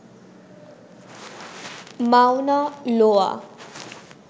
Mawna লোয়া